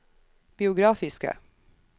biografiske